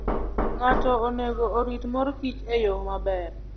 Ng'ato onego orit mor kich e yo maber.